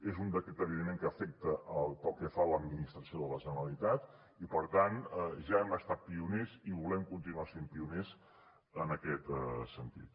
és un decret evidentment que afecta pel que fa a l’administració de la generalitat i per tant ja hem estat pioners i volem continuar sent pioners en aquest sentit